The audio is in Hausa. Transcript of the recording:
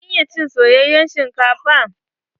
Kin iya cin soyayen shinkafa?